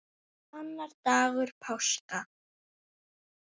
Annar dagur páska.